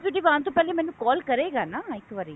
executive ਆਉਣ ਤੋਂ ਪਹਿਲੇ ਮੈਨੂੰ call ਕਰੇਗਾ ਨਾ ਇੱਕ ਵਾਰੀ